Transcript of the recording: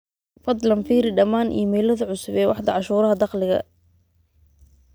fadlan firi dhammaan iimaylada cusub ee waaxda cashuuraha dakhliga